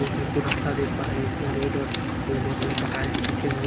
दो साइड दो रास्ता देख पा रहे हैं जिसमें रेड और यलो कलर के टाइल्स पीछे हुए हैं।